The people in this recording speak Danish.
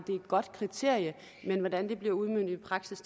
det er et godt kriterium men hvordan det bliver udmøntet i praksis